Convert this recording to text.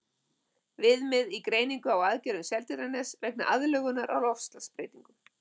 Viðmið í greiningu á aðgerðum Seltjarnarness vegna aðlögunar að loftslagsbreytingum.